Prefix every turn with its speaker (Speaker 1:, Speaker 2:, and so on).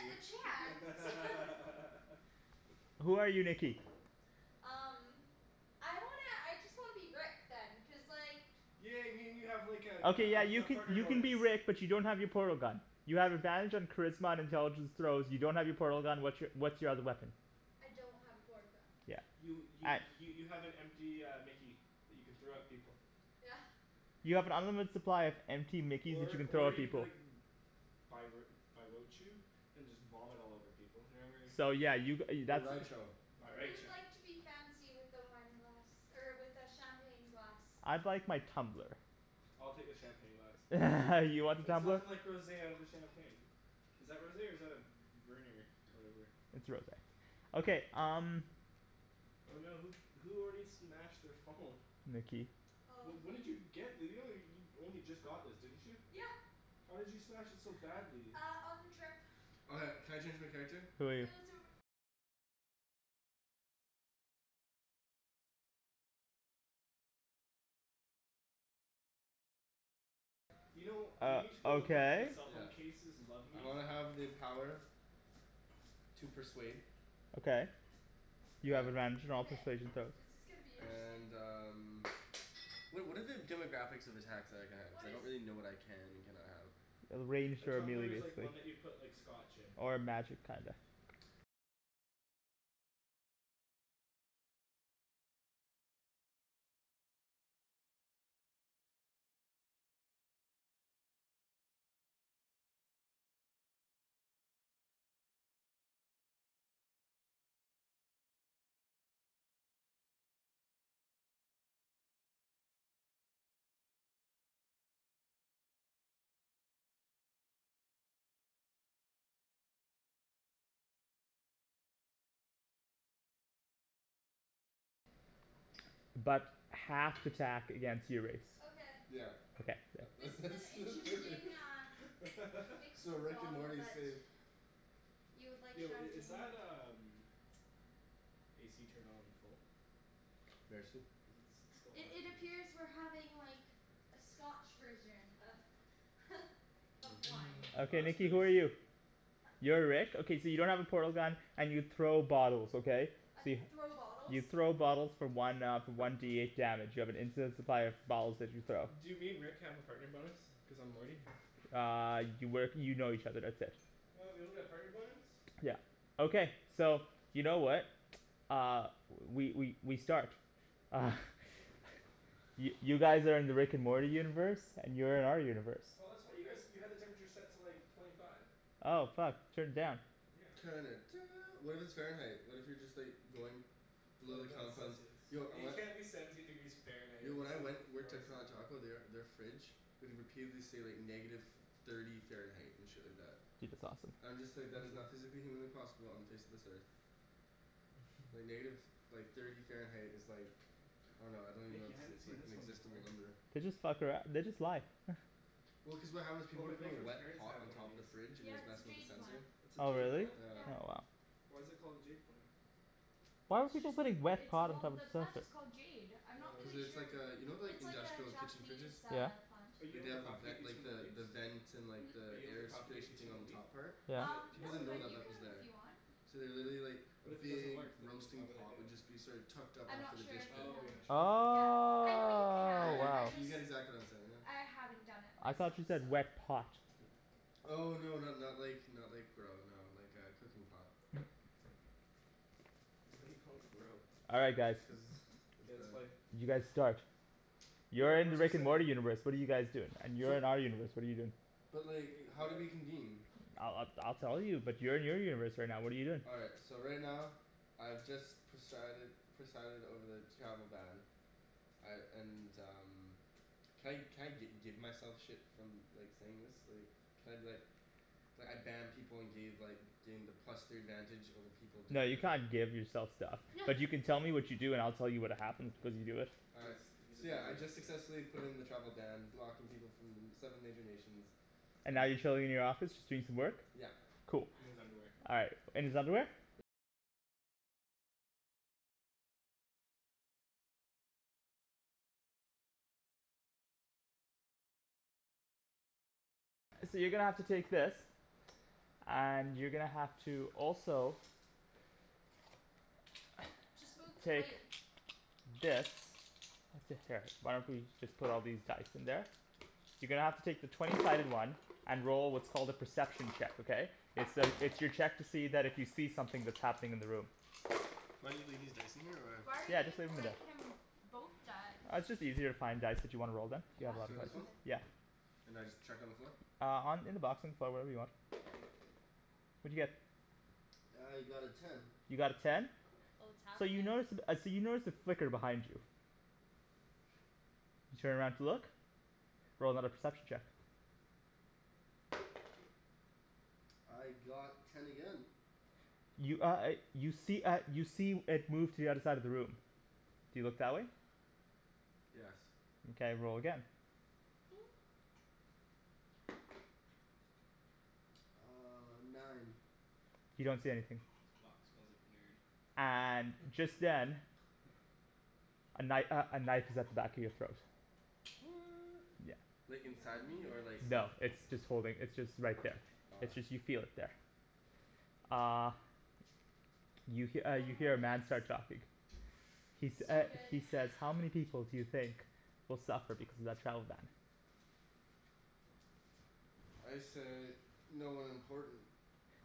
Speaker 1: you
Speaker 2: the chance no
Speaker 3: Who are you Nikki?
Speaker 2: Um I wanna, I just wanna be Rick then, cuz like
Speaker 1: Yeah I mean you have like
Speaker 3: Okay yeah
Speaker 1: a a
Speaker 3: you
Speaker 1: a
Speaker 3: can
Speaker 1: partner
Speaker 3: you can
Speaker 1: bonus.
Speaker 3: be Rick but you don't have your portal gun. You have advantage on charisma and intelligence throws, you don't have your portal gun, what's your what's your other weapon?
Speaker 2: I don't have a portal gun.
Speaker 3: Yeah.
Speaker 1: You y- y- you have an empty uh mickey that you can throw at people.
Speaker 2: Yeah.
Speaker 3: You have an unlimited supply of empty mickeys that you
Speaker 1: Or
Speaker 3: can throw
Speaker 1: or
Speaker 3: at
Speaker 1: you can be
Speaker 3: people.
Speaker 1: like and just vomit all over people. Or whatever.
Speaker 3: So yeah you g- uh you that's what-
Speaker 2: Who would like to be fancy with the wine glass er with the champagne glass?
Speaker 3: I'd like my tumbler.
Speaker 1: I'll take the champagne glass.
Speaker 3: You want the
Speaker 1: There's
Speaker 3: tumbler?
Speaker 1: nothing like rosé out of a champagne. Is that rosé or is that a v- v- vernier whatever?
Speaker 3: It's rosé. Okay, um
Speaker 1: Oh no, who who already smashed their phone?
Speaker 3: Nikki.
Speaker 2: Oh
Speaker 1: Wh- when did
Speaker 2: me.
Speaker 1: you get this? You only you only just got this didn't you?
Speaker 2: Yeah.
Speaker 1: How did you smash it so badly?
Speaker 2: Uh on the trip.
Speaker 4: Okay, can I change my character?
Speaker 3: Who are you?
Speaker 1: You know you
Speaker 3: Uh,
Speaker 1: need to go look at the
Speaker 3: okay.
Speaker 1: cell phone
Speaker 4: Yeah.
Speaker 1: cases "Love
Speaker 4: I
Speaker 1: me."
Speaker 4: wanna have the power to persuade
Speaker 3: Okay, you have advantage on all
Speaker 2: Okay,
Speaker 3: persuasion throws.
Speaker 2: this is gonna be interesting.
Speaker 4: and um Wha- what are the demographics of attacks that I can have? Cuz
Speaker 2: What
Speaker 4: I
Speaker 2: is
Speaker 4: don't really know what I can and cannot have.
Speaker 3: It'll rain
Speaker 1: A
Speaker 3: here
Speaker 1: tumbler is
Speaker 3: immediately.
Speaker 1: like one that you put like scotch in.
Speaker 3: Or magic, kinda but half th- attack against your race
Speaker 2: Okay.
Speaker 4: Yeah.
Speaker 3: Okay, yeah.
Speaker 2: This
Speaker 4: That's
Speaker 2: is
Speaker 4: that's
Speaker 2: an
Speaker 4: that's
Speaker 2: interesting
Speaker 4: perfect
Speaker 2: uh mix
Speaker 4: Yo,
Speaker 2: of a
Speaker 4: Rick and
Speaker 2: bottle
Speaker 4: Morty is
Speaker 2: but
Speaker 4: safe.
Speaker 2: You would like
Speaker 1: Yo i- is
Speaker 2: champagne
Speaker 1: that um AC turned on full?
Speaker 4: Merci.
Speaker 1: Cuz it's it's still
Speaker 2: I-
Speaker 1: hot in
Speaker 2: It
Speaker 1: here.
Speaker 2: appears we're having like a scotch version of of wine.
Speaker 3: Okay
Speaker 1: That's
Speaker 3: Nikki
Speaker 1: really
Speaker 3: who are you?
Speaker 1: sleep.
Speaker 3: You're Rick? Okay so you don't have a portal gun and you throw bottles, okay? So you
Speaker 2: Throw bottles?
Speaker 3: You throw bottles for one uh one D eight damage. You have an infinite supply of bottles that you throw.
Speaker 1: Do me and Rick have a partner bonus cuz I'm Morty?
Speaker 3: Uh you work, you know each other, that's it.
Speaker 1: What? We don't get a partner bonus?
Speaker 3: Yeah. Okay, so you know what? Uh, we we we start. Uh Y- you guys are in the Rick and Morty universe, and you're in our universe.
Speaker 1: Oh that's what you guys you had the temperature set to like twenty five.
Speaker 3: Oh fuck. Turn it down.
Speaker 1: Yeah.
Speaker 4: Turn it do- what if it's Fahrenheit? What if you're just like going below
Speaker 1: Well
Speaker 4: the
Speaker 1: no, it's
Speaker 4: confines,
Speaker 1: Celcius.
Speaker 4: yo I
Speaker 1: You
Speaker 4: wan-
Speaker 1: can't be seventeen degrees Fahrenheit;
Speaker 4: Yo when I
Speaker 1: that's like
Speaker 4: went worked at
Speaker 1: frozen.
Speaker 4: Taco they are their fridge would repeatedly say like negative thirty Fahrenheit and shit like that.
Speaker 3: That's awesome.
Speaker 4: I'm just like, that is not physically humanly possible on the face of this earth. Like negative, like thirty Fahrenheit is like I dunno, I don't even know how
Speaker 1: Nikki,
Speaker 4: to
Speaker 1: I
Speaker 4: say,
Speaker 1: hadn't seen
Speaker 4: like an
Speaker 1: this one before.
Speaker 4: inexistable number.
Speaker 3: They just fuck arou- they just lie
Speaker 4: Well cuz of how those people
Speaker 1: Oh
Speaker 4: were
Speaker 1: my
Speaker 4: putting
Speaker 1: girlfriend's
Speaker 4: wet
Speaker 1: parents
Speaker 4: pot
Speaker 1: have
Speaker 4: on
Speaker 1: one of
Speaker 4: top of
Speaker 1: these.
Speaker 4: the fridge and it
Speaker 2: Yeah
Speaker 4: was
Speaker 2: it's a
Speaker 4: messing with the
Speaker 2: jade plant.
Speaker 4: sensor.
Speaker 1: It's a
Speaker 3: Oh
Speaker 1: jade
Speaker 3: really?
Speaker 1: plant?
Speaker 4: Yeah.
Speaker 3: Oh wow.
Speaker 1: Why is it called a jade plant?
Speaker 3: Why would you go
Speaker 2: Just
Speaker 3: putting wet
Speaker 2: it's
Speaker 3: pot on top
Speaker 2: called,
Speaker 3: of
Speaker 2: the
Speaker 3: a
Speaker 2: plant
Speaker 3: sensor?
Speaker 2: is called jade. I'm not
Speaker 4: Cuz
Speaker 1: Oh.
Speaker 2: really
Speaker 4: it's
Speaker 2: sure.
Speaker 4: like uh, you know like
Speaker 2: It's like a
Speaker 4: industrial kitchen
Speaker 2: Japanese
Speaker 4: fridges?
Speaker 3: Yeah.
Speaker 2: uh plant.
Speaker 1: Are you
Speaker 4: Way,
Speaker 1: able
Speaker 4: they
Speaker 1: to
Speaker 4: have the ven-
Speaker 1: propagate these
Speaker 4: like
Speaker 1: from the
Speaker 4: the
Speaker 1: leaves?
Speaker 4: the vent and
Speaker 2: Hmm?
Speaker 1: Are
Speaker 4: the
Speaker 1: you able to
Speaker 4: air
Speaker 1: propagate
Speaker 4: circulation
Speaker 1: these
Speaker 4: thing
Speaker 1: from
Speaker 4: on
Speaker 1: a
Speaker 4: the
Speaker 1: leaf?
Speaker 4: top part?
Speaker 1: Is
Speaker 3: Yeah.
Speaker 2: Um
Speaker 1: it
Speaker 4: People
Speaker 2: no
Speaker 1: a
Speaker 4: didn't know
Speaker 1: second
Speaker 2: but
Speaker 4: that
Speaker 2: you
Speaker 1: one?
Speaker 4: that was
Speaker 2: can if
Speaker 4: there.
Speaker 2: you want.
Speaker 4: So they literally like, a
Speaker 1: But if it doesn't
Speaker 4: big
Speaker 1: work then why
Speaker 4: roasting
Speaker 1: would I do
Speaker 4: pot would
Speaker 1: it?
Speaker 4: just be sort of tucked up
Speaker 2: I'm
Speaker 4: after
Speaker 2: not
Speaker 4: the
Speaker 2: sure
Speaker 4: dish
Speaker 2: if you
Speaker 4: pit.
Speaker 1: Oh, you're
Speaker 2: can.
Speaker 1: not
Speaker 3: Oh
Speaker 1: sure? Okay.
Speaker 2: Yeah. I know you
Speaker 4: Yeah
Speaker 2: can,
Speaker 4: y-
Speaker 2: I
Speaker 3: wow.
Speaker 4: you
Speaker 2: just,
Speaker 4: get exactly what I'm saying now.
Speaker 2: I haven't done it
Speaker 3: I thought
Speaker 2: myself,
Speaker 3: you
Speaker 2: so
Speaker 3: said "wet pot".
Speaker 4: Oh no not not like not like grow, no. Like a cooking pot.
Speaker 1: Why do you call it grow?
Speaker 3: All right guys.
Speaker 4: Cuz it's
Speaker 1: K, let's play.
Speaker 4: bad.
Speaker 3: You guys start. You're
Speaker 1: Where
Speaker 3: in the
Speaker 1: where's our
Speaker 3: Rick and
Speaker 1: setting?
Speaker 3: Morty universe, what are you guys doing? And you're
Speaker 4: So
Speaker 3: in our universe, what are you doing?
Speaker 4: But like,
Speaker 1: Wait,
Speaker 4: how do
Speaker 1: what?
Speaker 4: we convene?
Speaker 3: I'll I'll I'll tell you, but you're in your universe right now, what are you doing?
Speaker 4: All right, so right now, I've just presided presided over the travel ban. I and um Can I can I gi- give myself shit from like saying this? Like, can I be like like I ban people and gave like gain the plus three advantage over people
Speaker 3: No, you
Speaker 4: definitive
Speaker 3: can't give yourself stuff, but you can tell me what you do and I'll tell you what happened as you do it.
Speaker 4: All right,
Speaker 1: Cuz he's a
Speaker 4: so yeah I
Speaker 1: dungeon
Speaker 4: just
Speaker 1: master.
Speaker 4: successfully put in the travel ban, blocking people from them seven major nations.
Speaker 3: And
Speaker 4: Um
Speaker 3: now you're chilling in your office just doing some work?
Speaker 4: Yeah.
Speaker 3: Cool.
Speaker 1: In his underwear.
Speaker 3: All right, in his underwear? And you're gonna have to also
Speaker 2: Just move the
Speaker 3: take
Speaker 2: plate.
Speaker 3: this. That's it here. Why don't we just put all these dice in there. You're gonna have to take the twenty sided one and roll what's called a perception check, okay? It's to it's your check that if you see something that's happening in the room.
Speaker 4: Do I need to leave these dice in here or?
Speaker 2: Why are you
Speaker 3: Yeah, just leave
Speaker 2: giving
Speaker 3: them in there.
Speaker 2: like him both die?
Speaker 3: Uh it's just easier to find dice that you wanna roll then. You have
Speaker 2: Yeah?
Speaker 3: a lot of
Speaker 4: So this one?
Speaker 3: choices.
Speaker 2: Okay.
Speaker 3: Yeah.
Speaker 4: And I just chuck on the floor?
Speaker 3: Uh on in the box in the floor, wherever you want. What'd you get?
Speaker 4: I got a ten.
Speaker 3: You got a ten?
Speaker 2: Oh it's
Speaker 3: So you
Speaker 2: happenin'
Speaker 3: notice uh so you notice a flicker behind you. You turn around to look. Roll another perception check.
Speaker 4: I got ten again.
Speaker 3: You uh uh you see uh you see it move to the other side of the room. Do you look that way?
Speaker 4: Yes.
Speaker 3: Mkay, roll again.
Speaker 4: Uh nine.
Speaker 3: You don't see anything.
Speaker 1: This box smells like nerd.
Speaker 3: And just then A kni- uh a knife is at the back of your throat.
Speaker 4: What!
Speaker 3: Yeah.
Speaker 4: Like,
Speaker 2: I wonder how
Speaker 4: inside
Speaker 2: many
Speaker 4: me or
Speaker 2: minutes.
Speaker 4: like there?
Speaker 3: No. It's just holding, it's just right there.
Speaker 4: Ah.
Speaker 3: It's just you feel it there. Uh You he- uh
Speaker 2: Four
Speaker 3: you
Speaker 2: more
Speaker 3: hear a man
Speaker 2: minutes.
Speaker 3: start talking. He sa-
Speaker 2: So
Speaker 3: uh
Speaker 2: good.
Speaker 3: he says "How many people do you think will suffer because of that travel ban?"
Speaker 4: I say "no one important."